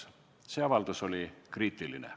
See avaldus oli kriitiline.